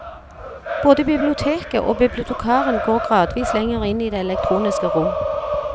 Både biblioteket og bibliotekaren går gradvis lenger inn i det elektroniske rom.